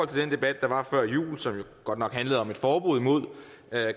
den debat der var før jul som jo godt nok handlede om et forbud mod